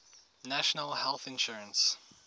national health insurance